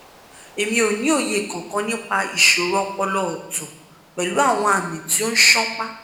emi o ni oye kankan nipa isoro opolo ooto pelu awon ami ti o sonpa